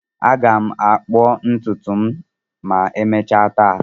Aga m akpuo ntutu m ma emechaa taa.